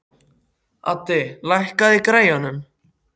Addi, lækkaðu í græjunum.